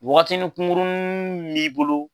Wagatini kunguruni m'i bolo,